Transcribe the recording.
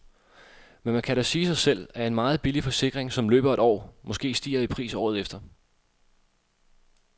Men man kan da sige sig selv, at en meget billig forsikring, som løber et år, måske stiger i pris året efter.